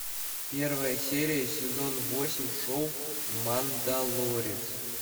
первая серия сезон восемь шоу мандалорец